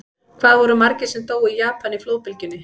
Hvað voru margir sem dóu í Japan í flóðbylgjunni?